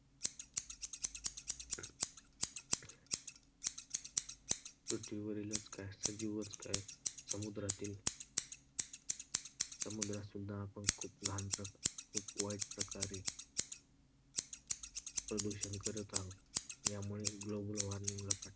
पृथ्वीवरीलच काय सजीवच काय समुद्रातील समुद्रात सुद्धा आपण खूप घाण खूप वाईट प्रकारे प्रदूषण करत आहोत. त्यामुळे फटका